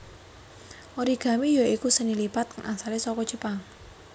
Origami ya iku seni lipat kang asale saka Jepang